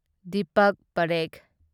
Deepak Parekh